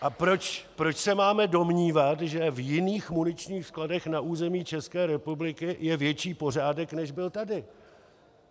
A proč se máme domnívat, že v jiných muničních skladech na území České republiky je větší pořádek, než byl tady?